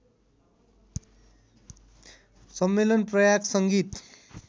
सम्मेलन प्रयाग संगीत